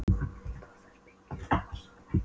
Hún vildi að þær byggju þar saman.